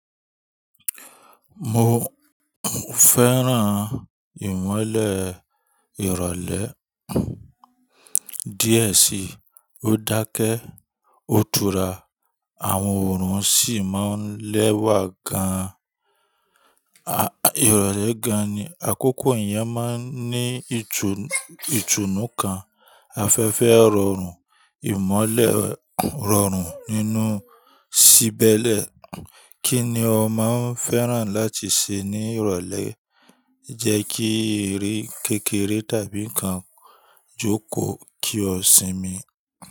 Mo fẹ́ràn ìmọ́lẹ̀ ìrọ̀lẹ́ díẹ̀ sí. Ó dákẹ́, ó tura àwọn òrùn sì máa ń lẹ́wà gan an. Ìrọ̀lẹ́ gan ni àkókò ìyẹn máa ń ní ìtùnú kan. Afefe o rorun imole rorun ninu si be le. Kí ni ọ máa ń fẹ́ràn láti ṣe ní ìrọ̀lẹ́? Jẹ́ kí ì ri kékeré tàbí nǹkan jókòó kí o sinmi.